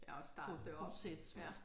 Ja at starte det op ja